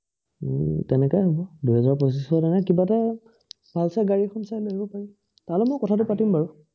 উম তেনেকুৱাই হব। দুই হেজাৰ পঁচিশ তেনে কিবা এটা, ভাল চাই গাড়ী এখন চাই লৈ আহিব পাৰি। তাৰ লগত মই কথাটো পাৰিম বাৰু।